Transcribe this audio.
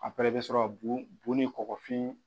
i bɛ sɔrɔ ka bu bu nin kɔkɔfin.